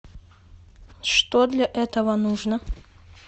что для этого нужно